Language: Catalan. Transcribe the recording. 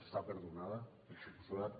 està perdonada per descomptat